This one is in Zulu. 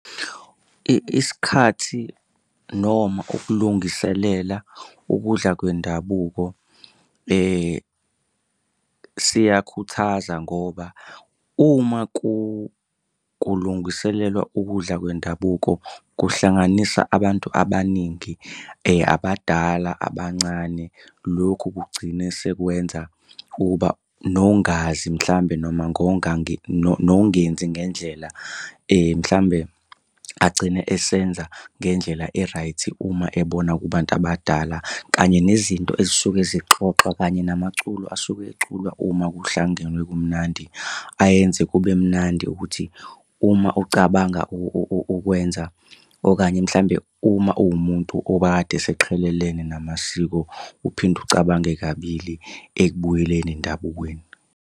Isikhathi noma ukulungiselela ukudla kwendabuko siyakhuthaza ngoba uma kulungiselelwa ukudla kwendabuko kuhlanganisa abantu abaningi abadala abancane. Lokhu kugcine sekwenza ukuba nongazi mhlampe noma nongenzi ngendlela mhlawumbe agcine esenza ngendlela e-right uma ebona kubantu abadala, kanye nezinto ezisuke zixoxwa kanye namaculo asuke eculwa uma kuhlangenwe kumnandi. Ayenze kube mnandi ukuthi uma ucabanga ukwenza okanye mhlawumbe uma uwumuntu obekade eseqhelelene namasiko, uphinde ucabange kabili ekubuyeleni endabukweni.